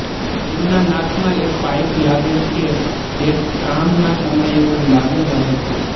તેમના નાક માં એક પાઈપ લાગેલ છે જે કામ ના સમયે પણ લાગેલ રહે છે